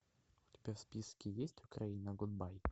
у тебя в списке есть украина гудбай